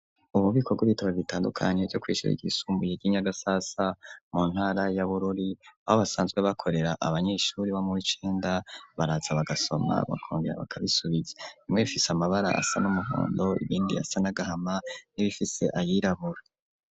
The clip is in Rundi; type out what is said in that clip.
Ububiko bw'ibitabo, bitandukanye, bwo kw'ishure ryisumbuye, ry'i Nyagasasa, mu ntara ya Bururi, aho basanzwe bakorera, abanyeshuri, bo mu w'icenda; baraza bagasoma, bakongera bakabisubiza, bimwe, bifise amabara asa n'umuhondo, ibindi, asa n'agahama, n'ibifise ayirabura.